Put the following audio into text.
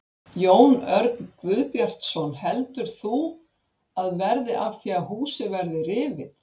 Jón Örn Guðbjartsson: Heldur þú að verði af því að húsið verði rifið?